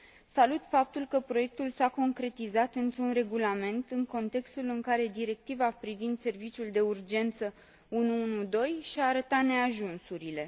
Salut faptul că proiectul s a concretizat într un regulament, în contextul în care Directiva privind serviciul de urgență 112 și a arătat neajunsurile.